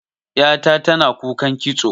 Ƴa ta tana kukan kitso.